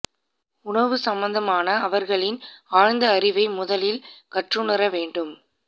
உணவு சம்பந்தமான அவர்களின் ஆழ்ந்த அறிவை முதலில் கற்றுணர வேண்டும்